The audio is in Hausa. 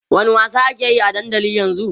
wani wasa akeyi a dandali ƴan zun?